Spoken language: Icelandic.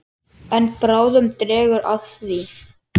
En bráðum dregur að því.